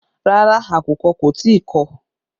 Rárá, àkùkọ kò tí ì kọ̀